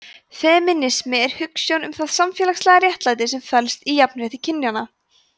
femínismi er hugsjón um það samfélagslega réttlæti sem felst í jafnrétti kynjanna